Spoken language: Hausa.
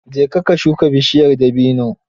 Je ka ka shuga bishiyar dabino